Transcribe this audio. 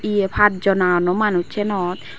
hiye pachjon aonnoi manuj seinot.